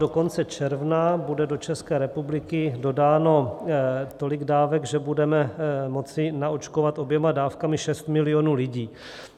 Do konce června bude do České republiky dodáno tolik dávek, že budeme moci naočkovat oběma dávkami 6 milionů lidí.